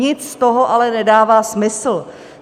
Nic z toho ale nedává smysl.